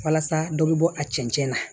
Walasa dɔ bɛ bɔ a cɛncɛn na